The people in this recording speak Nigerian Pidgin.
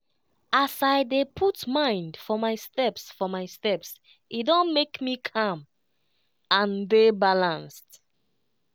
as i dey put mind for my steps for my steps e don make me calm and dey balanced.